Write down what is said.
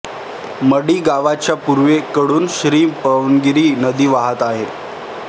मढी गावाच्या पूर्वेकडून श्री पवनगिरी नदी वाहत आहे